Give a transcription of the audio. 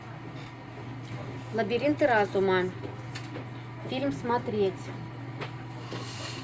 лабиринты разума фильм смотреть